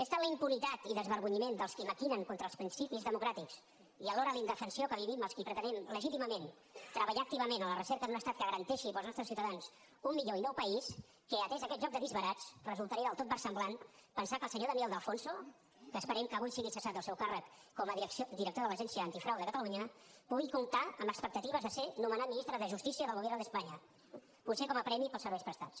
és tal la impunitat i desvergonyiment dels qui maquinen contra els principis democràtics i alhora la indefensió que vivim els qui pretenem legítimament treballar activament a la recerca d’un estat que garanteixi per als nostres ciutadans un millor i nou país que atès aquest joc de disbarats resultaria del tot versemblant pensar que el senyor daniel de alfonso que esperem que avui sigui cessat del seu càrrec com a director de l’agència antifrau de catalunya pugui comptar amb expectatives de ser nomenat ministre de justícia del gobierno de españa potser com a premi pels serveis prestats